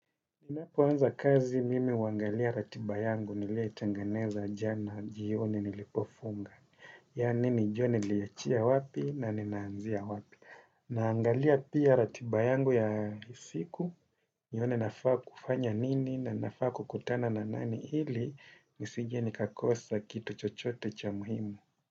Ninapoanza kazi mimi huangalia ratiba yangu nilietengeneza jana jioni nilipofunga. Yani nijue niliachia wapi na ninaanzia wapi. Naangalia pia ratiba yangu ya siku. Nione nafaa kufanya nini na nafaa kukutana na nani hili. Nisije nikakosa kitu chochote cha muhimu.